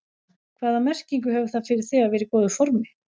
Hvaða merkingu hefur það fyrir þig að vera í góðu formi?